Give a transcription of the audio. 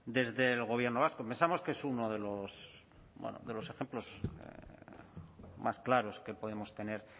desde el gobierno vasco pensamos que es uno de los bueno de los ejemplos más claros que podemos tener